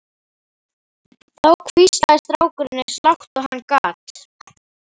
Þá hvíslaði strákurinn eins og lágt og hann gat